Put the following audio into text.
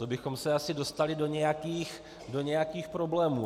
To bychom se asi dostali do nějakých problémů.